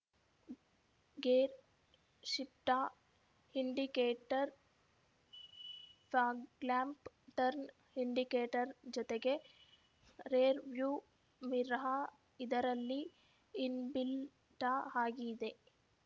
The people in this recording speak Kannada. ಗೇರ್‌ ಶಿಫ್ಟಾ indicator fog lamp turn indicator ಜೊತೆಗೆ ರೇರ್‌ ವ್ಯೂ ಮಿರಾ ಇದರಲ್ಲಿ ಇನ್‌ಬಿಲ್ಟಾ ಆಗಿ ಇದೆ